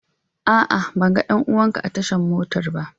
A'a ban ga danuwan ka a tashan motan ba.